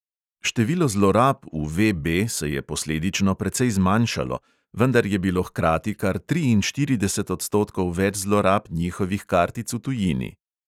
Število zlorab v VB se je posledično precej zmanjšalo, vendar je bilo hkrati kar triinštirideset odstotkov več zlorab njihovih kartic v tujini.